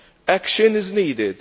Action is needed.